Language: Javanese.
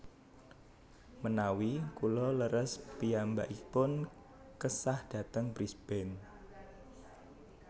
Menawi kula leres piyambakipun kesah dhateng Brisbane